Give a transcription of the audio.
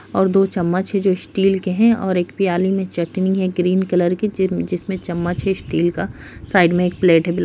और दो चम्मच है जो स्टील के हैं और एक प्याली में चटनी है ग्रीन कलर की जिन जिसमें चम्मच है स्टील का। साइड में एक प्लेट भी ल --